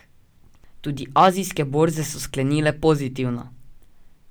Tudi azijske borze so sklenile pozitivno.